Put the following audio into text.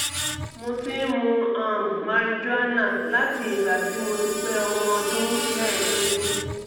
mo ti ń mu um marijuana láti ìgbà tí mo ti pé ọmọ ọdún mẹ́ẹ̀ẹ́dógún